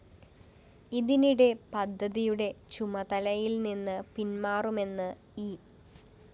ഇതിനിടെ പദ്ധതിയുടെ ചുമതലയില്‍ നിന്ന് പിന്‍മാറുമെന്ന് ഇ